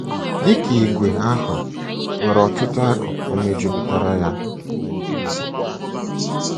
Dị ka ìgwè, àhụ́ nwere ọtụtụ akụkụ mejupụtara ya.